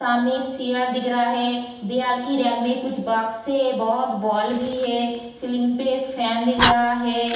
सामने एक चेयर दिख रहा है दीवाल की रैक में कुछ बॉक्स है बहुत बॉल भी है सीलिंग पे एक फैन दिख रहा है।